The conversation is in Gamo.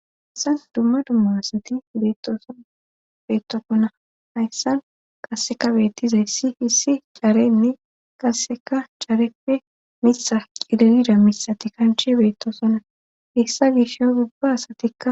Issas dumma dumma asati beettooson beettosona hayssan qasseka beettizayssi hissi caarenne qasseka careppe mitha qililida mitha ti kanch beettosona hessa gish o dubba asatikka.